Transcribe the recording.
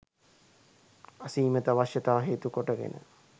අසීමිත අවශ්‍යතා හේතු කොට ගෙන